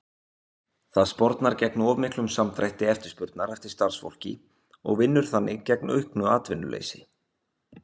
Það spornar gegn of miklum samdrætti eftirspurnar eftir starfsfólki og vinnur þannig gegn auknu atvinnuleysi.